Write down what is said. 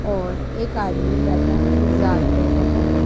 और एक आदमी बैठा इंतजार कर रहा है।